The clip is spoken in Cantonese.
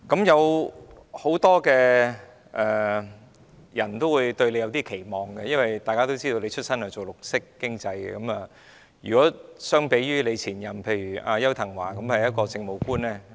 有很多人對局長抱有期望，因為大家都知道局長從事綠色經濟出身，而前局長邱騰華則是一名政務官。